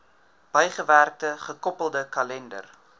bygewerkte gekoppelde kalender